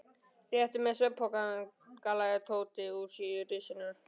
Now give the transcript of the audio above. Réttu mér svefnpokana galaði Tóti úr risinu.